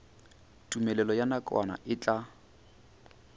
tumelelo ya nakwana e tla